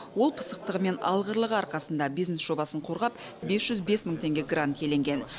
ол пысықтығы мен алғырлығы арқасында бизнес жобасын қорғап бес жүз бес мың теңге грант иеленген